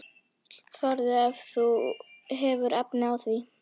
Farðu ef þú hefur efni á því!